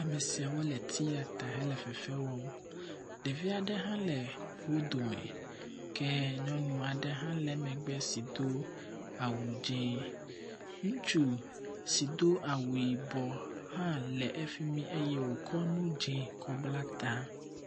amesiawo le tiata wóle fɛfɛ wɔm ɖevi aɖewo le wó dome kɛ nyɔŋuaɖe hã le megbe si dó awu dzɛ̃ ŋutsu si dó awu yibɔ hã lɛ ɛfimi eye wókɔ enu dzɛ̃ kɔ bla ta